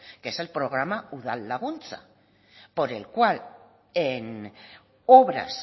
que es el programa udal laguntza por el cual en obras